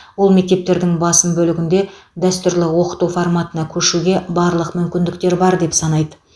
ол мектептердің басым бөлігінде дәстүрлі оқыту форматына көшуге барлық мүмкіндіктер бар деп санайды